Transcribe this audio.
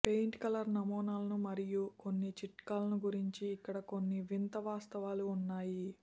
paint colour నమూనాలను మరియు కొన్ని చిట్కాలను గురించి ఇక్కడ కొన్ని వింత వాస్తవాలు ఉన్నాయి